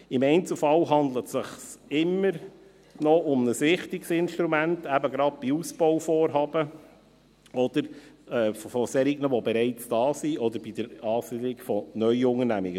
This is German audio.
Im Einzelfall handelt es sich immer noch um ein wichtiges Instrument, eben gerade bei Ausbauvorhaben von Unternehmen, die bereits da sind, oder bei der Ansiedelung von neuen Unternehmungen.